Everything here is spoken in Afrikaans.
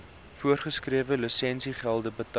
voorgeskrewe lisensiegelde betyds